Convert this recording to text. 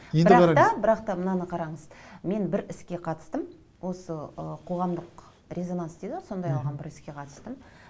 енді бірақ та бірақ та мынаны қараңыз мен бір іске қатыстым осы ы қоғамдық резонанс дейді ғой сондай бір іске қатыстым